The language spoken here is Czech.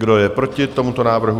Kdo je proti tomuto návrhu?